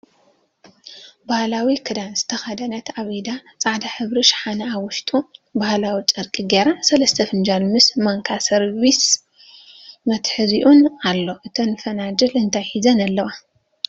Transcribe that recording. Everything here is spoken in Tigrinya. ባህላዊ ክዳን ዝተከደነት ኣብ ኢዳ ፃዕዳ ሕብሪ ሽሓነ ኣብ ውሽጡ ባህላዊ ጨርቂ ገይራ ሰለስተ ፈናጅል ምስ ማንካን ሰርቨስ መትሐዚኡን ኣሎ። እተን ፍንጃል እንታይ ሒዘን ኣለዋ?